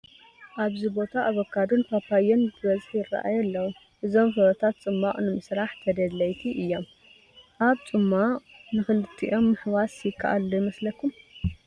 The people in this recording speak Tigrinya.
ኣብዚ ቦታ ኣቮካዶን ፓፓዮን ብብዝሒ ይርአዩ ኣለዉ፡፡ እዞም ፍረታት ፅሟቕ ንምስራሕ ተደለይቲ እዮም፡፡ ኣብ ፅሟቕ ንኽልቲኦም ምሕዋስ ይከኣል ዶ ይመስለኩም?